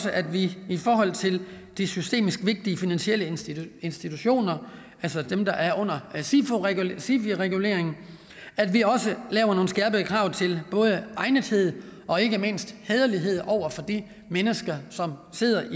at vi i forhold til de systemisk vigtige finansielle institutter institutter altså dem der er under sifi reguleringen laver nogle skærpede krav til både egnethed og ikke mindst hæderlighed over for de mennesker som sidder